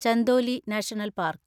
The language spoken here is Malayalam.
Chandoli national park